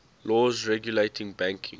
laws regulating banking